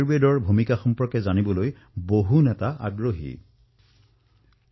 কিছু সংখ্যক নেতাই মোক সুধিছে যে কৰোনাৰ এই সংকটৰ সময়ত এই যোগ আৰু আয়ুৰ্বেদে কিদৰে সহায় কৰিব পাৰে